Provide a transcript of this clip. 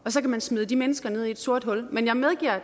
så kan smide de mennesker ned i et sort hul men jeg medgiver at